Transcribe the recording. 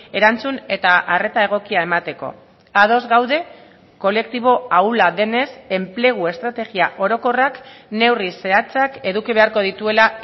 erantzun eta arreta egokia emateko ados gaude kolektibo ahula denez enplegu estrategia orokorrak neurri zehatzak eduki beharko dituela